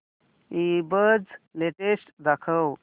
ईबझ लेटेस्ट दाखव